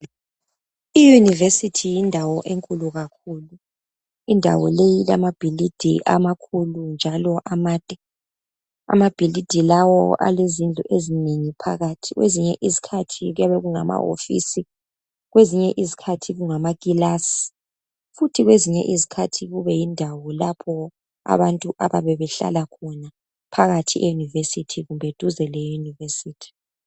Iyunivesithi yindawo enkulu kakhulu, indawo leyi ilamabhilidi amakhulu njalo amade. Amabhilidi lawo alezindlu ezinengi phakathi. Kwezinye izikhathi kuyabe kungamawofisi kwezinye izikhathi kungamakilasi futhi kwezinye izikhathi kube yindawo lapho abantu abayabe behlala khona phakathi eyunivesithi kumbe duze leyunivesithi.